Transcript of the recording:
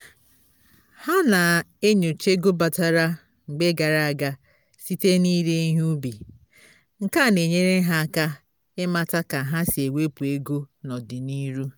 ha na-enyocha ego batara mgbe gara aga site n'ire ihe ubi nkea n'enyere ha aka ịmata ka ha si ewepu ego n'ọdịniru